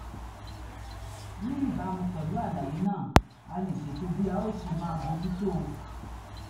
ní ìbámu pẹ̀lú àlàyé náà a lè ṣètò bí a ó ṣe máa bójú tó o